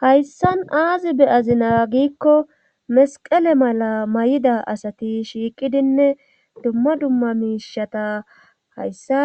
hayssan aazi be'azina giikko mesqele mala may7ida asati shiiqidinne dumma dumma miishata hayssa